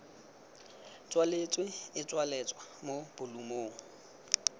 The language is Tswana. tswaletswe e tsweletswa mo bolumong